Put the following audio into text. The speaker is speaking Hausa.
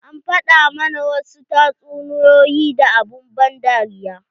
An faɗa mana wasu tatsuniyoyi da abun ban dariya.